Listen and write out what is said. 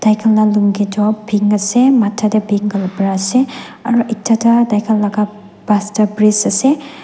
tai khan la pink ase matha tae pink kapra ase aro etata tai khan la pastor priest ase.